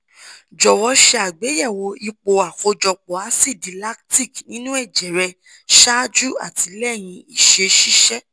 jọ̀wọ́ ṣe àgbéyẹ̀wò ipò àkójọpọ̀ asidi lactic nínú ẹ̀jẹ̀ rẹ ṣáájú àti lẹ́yìn ìṣeṣiṣẹ́